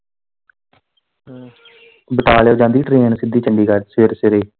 ਬਟਾਲੇ ਓ ਜਾਂਦੀ ਆ train ਸਿੱਧੀ ਚੰਡੀਗੜ ਸਵੇਰੇ ਸਵੇਰੇ।